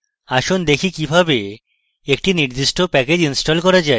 আসুন দেখি কিভাবে একটি নির্দিষ্ট প্যাকেজ install করা যায়